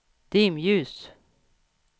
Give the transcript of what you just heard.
dimljus